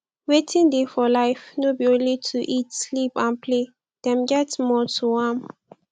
wetin dey for life no be only to eat sleep and play dem get more to am